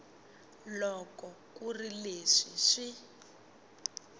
loko ku ri leswi swi